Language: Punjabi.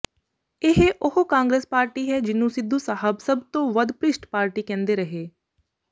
ਇਹ ਉਹ ਕਾਂਗਰਸ ਪਾਰਟੀ ਹੈ ਜਿਨੂੰ ਸਿੱਧੂ ਸਾਹਿਬ ਸਭ ਤੋਂ ਵੱਧ ਭ੍ਰਿਸ਼ਟ ਪਾਰਟੀ ਕਹਿੰਦੇ ਰਹੇ